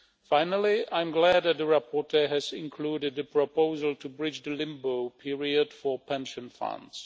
Finally, I am glad that the rapporteur has included a proposal to bridge the limbo period for pension funds.